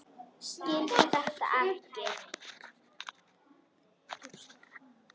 Skildi þetta ekki.